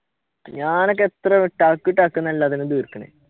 ഞാനൊക്കെ എത്രെ ടക്ക് ടക്ക് ആണ് എല്ലാത്തിനേം തീർക്കുന്നത്.